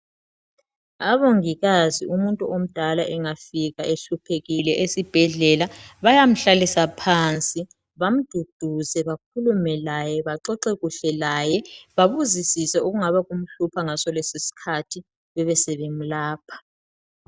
Abongikazi umuntu omdala engafika ehluphekile esibhedlela bayamhlalisa phansi bamduduze bakhulume laye baxoxe kuhle laye babuzisise okungabe kumhlupha ngaso lesi sikhathi besebemlapha.